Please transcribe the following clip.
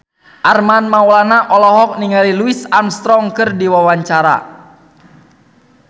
Armand Maulana olohok ningali Louis Armstrong keur diwawancara